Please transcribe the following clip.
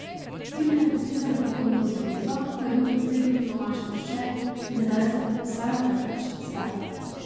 Tina je podpisala pogodbo z zvezo, ko je bil predsednik Tomaž Lovše, in tedaj sta podpisala, kar pač sta.